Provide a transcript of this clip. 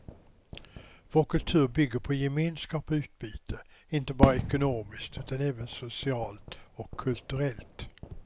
Vår kultur bygger på gemenskap och utbyte, inte bara ekonomiskt utan även socialt och kulturellt.